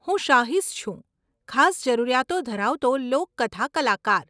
હું સાહીશ છું, ખાસ જરૂરિયાતો ધરાવતો લોકકથા કલાકાર.